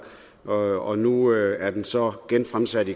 og nu er det så genfremsat